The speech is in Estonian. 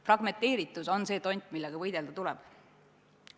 Fragmenteeritus on see tont, millega võidelda tuleb.